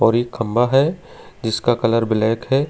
और एक खंभा है जिसका कलर ब्लैक है।